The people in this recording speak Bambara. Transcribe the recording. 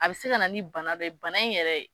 A be se ka na ni bana dɔ ye bana in yɛrɛ